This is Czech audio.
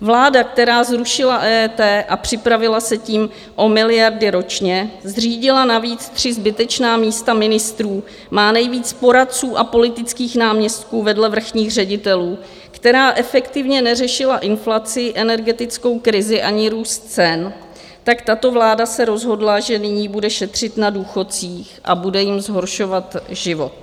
Vláda, která zrušila EET a připravila se tím o miliardy ročně, zřídila navíc tři zbytečná místa ministrů, má nejvíc poradců a politických náměstků vedle vrchních ředitelů, která efektivně neřešila inflaci, energetickou krizi ani růst cen, tak tato vláda se rozhodla, že nyní bude šetřit na důchodcích a bude jim zhoršovat život.